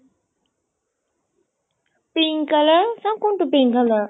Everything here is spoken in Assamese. pink color? চাও কোনটো pink color?